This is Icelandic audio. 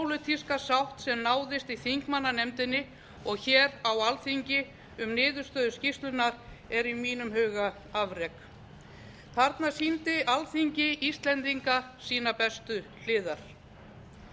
sem náðist í þingmannanefndinni og hér á alþingi um niðurstöðu skýrslunnar er í mínum huga afrek þarna sýndi alþingi íslendinga sínar bestu hliðar